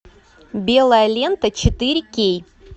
белая лента четыре кей